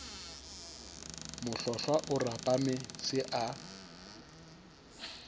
mohlohlwa o rapame se a